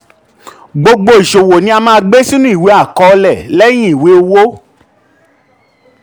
gbogbo um iṣowo ni a maa gbe sinu iwe akọọlẹ lẹyin iwe owo.